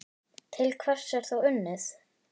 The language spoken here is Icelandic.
Til hvers er þá unnið?